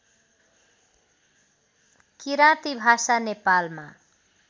किराँती भाषा नेपालमा